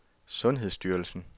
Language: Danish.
sundhedsstyrelsen